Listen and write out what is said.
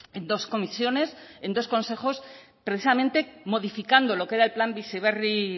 en dos comisiones en dos consejos precisamente modificando lo que era el plan bizi berri